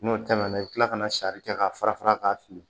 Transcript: N'o tɛmɛna i bɛ tila kana sari kɛ k'a fara fara k'a fili